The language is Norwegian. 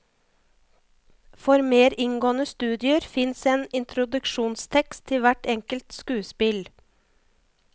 For mer inngående studier fins en introduksjonstekst til hvert enkelt skuespill.